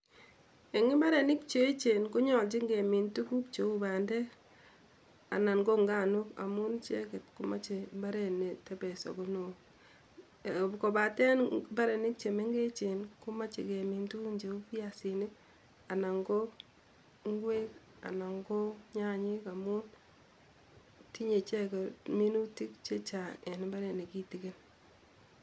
eng mbarenik che echen ko nyololjin ke min tuguk che u bandek anan ko nganok amu icheket ko mache mbaret ne tebes ako neoo kobaten mbarenik che mengechen ko mache kemin tuguk che u fiasinik anan ko ngwek anan ko nyanyek amu tinyei icheke minutik che chang eng mbaret ne kitiken